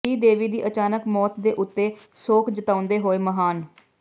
ਸ਼੍ਰੀਦੇਵੀ ਦੀ ਅਚਾਨਕ ਮੌਤ ਦੇ ਉੱਤੇ ਸ਼ੋਕ ਜਤਾਉਂਦੇ ਹੋਏ ਮਹਾਨ